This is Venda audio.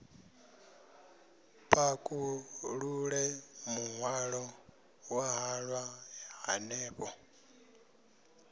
pakulule muhwalo wa halwa hanefho